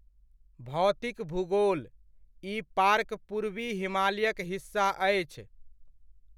भौतिक भूगोलः ई पार्क पूर्वी हिमालयक हिस्सा अछि।